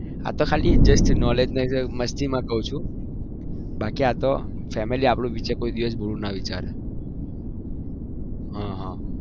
આ તો ખાલી just knowledge માં મસ્તી માં કઉ છુ બાકી family બુરું ના વિચાર હા હા